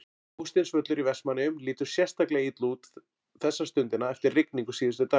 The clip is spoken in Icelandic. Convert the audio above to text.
Hásteinsvöllur í Vestmannaeyjum lítur sérstaklega illa út þessa stundina eftir rigningu síðustu daga.